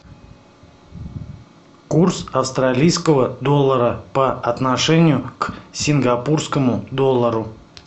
курс австралийского доллара по отношению к сингапурскому доллару